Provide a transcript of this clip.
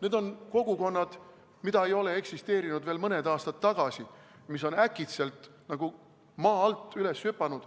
Need on kogukonnad, mis ei eksisteerinud veel mõni aasta tagasi, mis on äkitselt, nagu maa alt, välja hüpanud